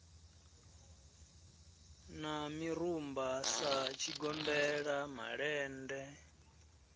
na mirumba sa tshigombela malende